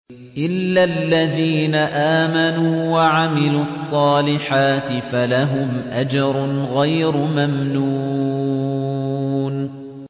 إِلَّا الَّذِينَ آمَنُوا وَعَمِلُوا الصَّالِحَاتِ فَلَهُمْ أَجْرٌ غَيْرُ مَمْنُونٍ